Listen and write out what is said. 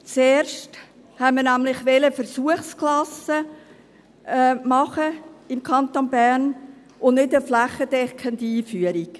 Zuerst wollten wir nämlich im Kanton Bern Versuchsklassen machen und keine flächendeckende Einführung.